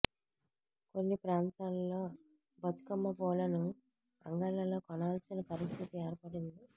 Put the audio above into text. కొన్ని ప్రాంతాలలో బతుకమ్మ పూలను అంగళ్ళలో కొనాల్సిన పరిస్థితి ఏర్పడింది